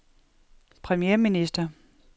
premierminister